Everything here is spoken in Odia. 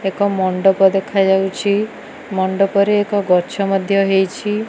ଏକ ମଣ୍ଡପ ଦେଖାଯାଉଛି ମଣ୍ଡପରେ ଏକ ଗଛ ମଧ୍ୟ ହେଇଛି।